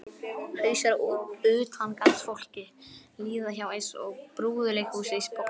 Hausar á utangarðsfólki líða hjá eins og í brúðuleikhúsi: Pósturinn